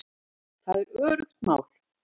Það er öruggt mál